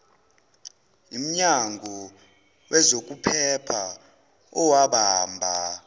imnyango wezokuphepha owabamba